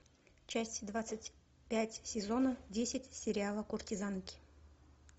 часть двадцать пять сезона десять сериала куртизанки